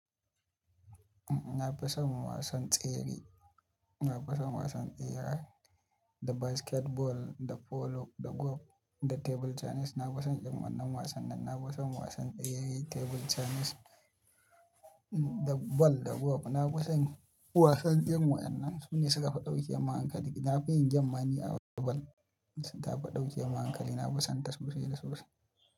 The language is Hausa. Na fi son wasan tsere, na fi son wasan tsere, da basketball, da polo, da golf, da table tennis. Na fi son irin wannan wasannin. Na fi son wasan tsere, table tennis, da ball, da golf. Na fason wasan duk wannan. Su ne suka fi ɗauke mun hankali. Na fi yin game ma ni a wasan ball. Dan tafi ɗauke min hankali na fi son ta sosai da sosai.